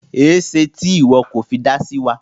Ẹ̀ṣẹ̀ tí iwọ kọ fẹ́ dá sí wa?